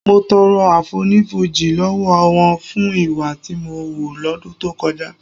Mo tọrọ àfonífojì lọ́wọ́ wọn fún ìwà tí mo hù lọ́dún tó kọjá